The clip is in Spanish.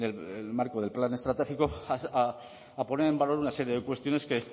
el marco del plan estratégico a poner en valor una serie de cuestiones que